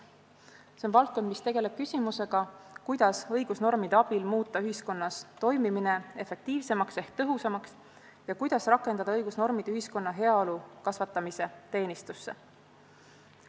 See on valdkond, mis tegeleb küsimusega, kuidas õigusnormide abil muuta ühiskonna toimimine efektiivsemaks ehk tõhusamaks ja kuidas rakendada õigusnormid ühiskonna heaolu kasvatamise teenistusse.